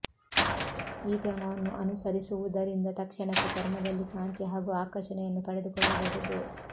ಈ ಕ್ರಮವನ್ನು ಅನುಸರಿಸುವುದರಿಂದ ತಕ್ಷಣಕ್ಕೆ ಚರ್ಮದಲ್ಲಿ ಕಾಂತಿ ಹಾಗೂ ಆಕರ್ಷಣೆಯನ್ನು ಪಡೆದುಕೊಳ್ಳಬಹುದು